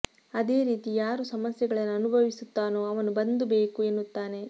ಅದೇ ರೀತಿ ಯಾರು ಸಮಸ್ಯೆಗಳನ್ನು ಅನುಭವಿಸುತ್ತಾನೋ ಅವನು ಬಂದ್ ಬೇಕು ಎನ್ನುತ್ತಾನೆ